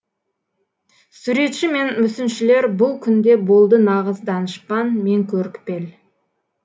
суретші мен мүсіншілер бұл күнде болды нағыз данышпан мен көріпкел